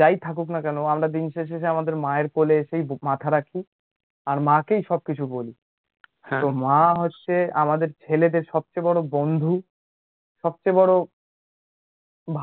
যাই থাকুক না কেন, আমরা দিনশেষে যে আমাদের মায়ের কোলে মাথা রাখি, আর মাকেই সবকিছু বলি, তো মা হচ্ছে আমাদের ছেলেদের সবচেয়ে বড় বন্ধু সবচেয়ে বড়